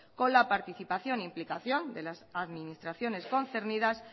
con la participación e implicación de las administraciones concernidas